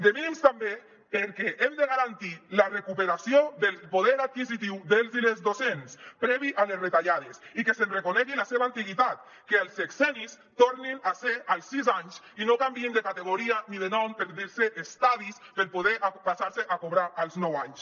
de mínims també perquè hem de garantir la recuperació del poder adquisitiu dels i les docents previ a les retallades i que es reconegui la seva antiguitat que els sexennis tornin a ser als sis anys i no canviïn de categoria ni de nom per dir se estadis per poder passar se a cobrar als nou anys